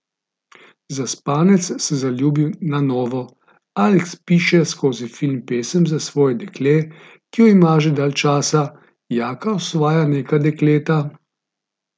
Zaspanec se zaljubi na novo, Aleks piše skozi film pesem za svoje dekle, ki jo ima že dalj časa, Jaka osvaja neka dekleta ...